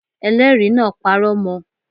Elẹ́ẹ̀rí náà parọ́ mọ